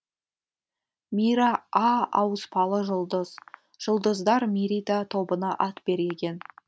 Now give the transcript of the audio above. мира а ауыспалы жұлдыз жұлдыздар мирида тобына ат береген